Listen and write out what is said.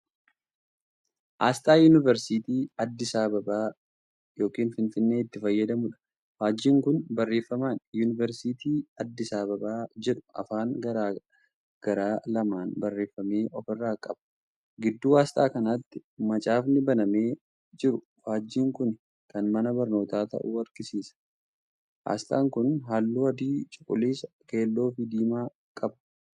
Aasxaa yuunivarsiitii Addis Ababa(finfinnee)itti fayyadamuudha. faajjiin Kuni barreeffaman"yuunivarsiitii Addis Ababaa"jedhu afaan garagaraa lamaan barreeffame ofirraa qaba. gidduu aasxaa kanaatti macaafni banamee jiru faajjin kuni Kan mana barnootaa ta'uu agarsiisa. aasxaan kun halluu adii, cuquliisa, keelloofi diimaa qaba.